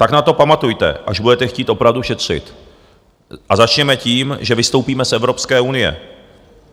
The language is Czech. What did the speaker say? Tak na to pamatujte, až budete chtít opravdu šetřit, a začněme tím, že vystoupíme z Evropské unie.